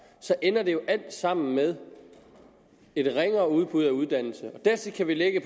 så ender det jo alt sammen med et ringere udbud af uddannelse dertil kan vi lægge at